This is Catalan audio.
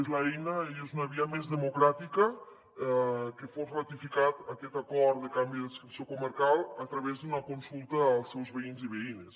és l’eina i és una via més democràtica que fos ratificat aquest acord de canvi d’adscripció comarcal a través d’una consulta als seus veïns i veïnes